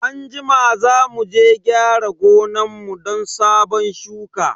Anjima za muje gyara gonan mu don sabon shuka.